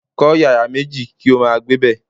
Kó̩ yàrá méjì kí ó máa gbébè̩.